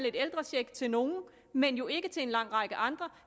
en ældrecheck til nogle men jo ikke til en lang række andre